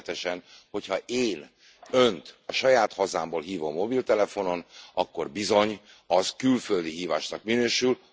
Nevezetesen, hogy ha én Önt a saját hazámból hívom mobiltelefonon, akkor bizony az külföldi hívásnak minősül.